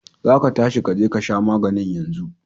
za ka tashi ka je ka sha maganin yanzu!